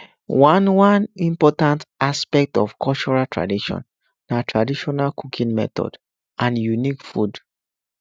one one important aspect of cultural tradition na traditional cooking method and unique food